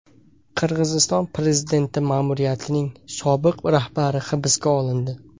Qirg‘iziston prezidenti ma’muriyatining sobiq rahbari hibsga olindi.